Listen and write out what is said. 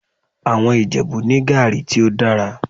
Àwọn Ìjẹ̀bú ní gàrí tí ó dára